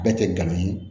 Bɛɛ tɛ gana ye